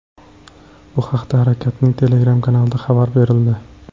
Bu haqda harakatning Telegram kanalida xabar berildi .